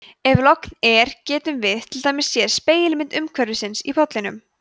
ef logn er getum við til dæmis séð spegilmynd umhverfisins í pollinum